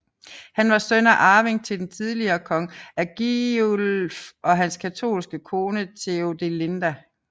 Han var søn og arving til den tidligere konge Agilulf og hans katolske kone Theodelinda